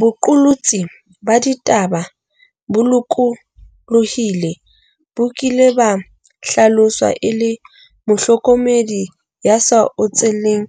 Boqolotsi ba ditaba bo lokolohileng bo kile ba hlaloswa e le 'mohlokomedi ya sa otseleng